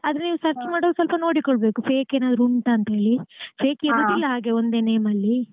ಆದ್ರೆ ನೀವ್ search ಮಾಡುವಾಗ ನೋಡಿಕೋಳ್ಬೇಕು fake ಏನಾದ್ರು ಉಂಟಾ ಹೇಳಿ fake ಇರೋದಿಲ್ಲ ಹಾಗೆ ಒಂದೇ name ಅಲ್ಲಿ .